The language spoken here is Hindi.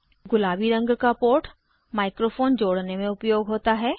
गुलाबी रंग का पोर्ट माइक्रोफोन जोड़ने में उपयोग होता है